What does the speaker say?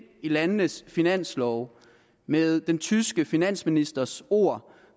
i landenes finanslove med den tyske finansministers ord